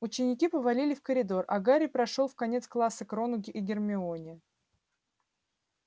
ученики повалили в коридор а гарри прошёл в конец класса к рону и гермионе